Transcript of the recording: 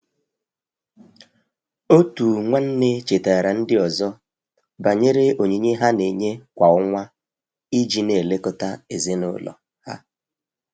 Otu nwanne chetara ndi ọzọ banyere onyinye ha na-enye kwa ọnwa iji na-elekọta ezinụlọ ha.